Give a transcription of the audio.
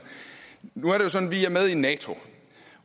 nu er det sådan at vi er med i nato